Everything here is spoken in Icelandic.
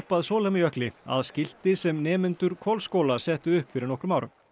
að Sólheimajökli að skilti sem nemendur Hvolsskóla settu upp fyrir nokkum árum